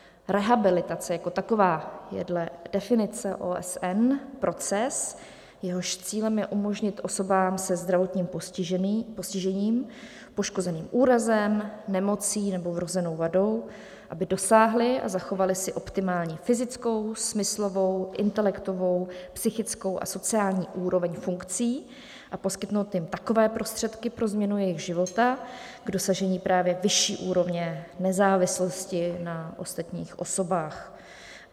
Rehabilitace jako taková je dle definice OSN proces, jehož cílem je umožnit osobám se zdravotním postižením, poškozeným úrazem, nemocí nebo vrozenou vadou, aby dosáhly a zachovaly si optimální fyzickou, smyslovou, intelektovou, psychickou a sociální úroveň funkcí, a poskytnout jim takové prostředky pro změnu jejich života k dosažení právě vyšší úrovně nezávislosti na ostatních osobách.